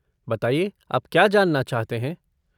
बताइए, आप क्या जानना चाहते हैं?